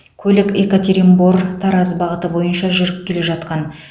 көлік екатеринбор тараз бағыты бойынша жүріп келе жатқан